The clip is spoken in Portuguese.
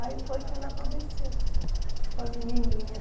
Aí foi que ela apareceu com a menininha.